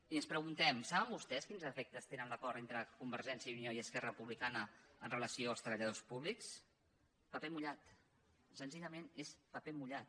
i ens preguntem saben vostès quins efectes té l’acord entre convergència i unió i esquerra republicana en relació amb els treballadors públics paper mullat senzillament és paper mullat